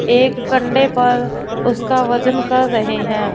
एक कंधे पर उसका वजन कर रहे हैं।